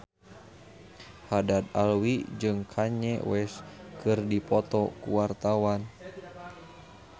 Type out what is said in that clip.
Haddad Alwi jeung Kanye West keur dipoto ku wartawan